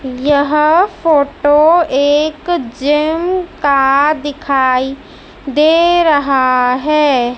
यह फोटो एक जिम का दिखाई दे रहा है।